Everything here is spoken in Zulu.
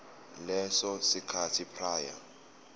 leso sikhathi prior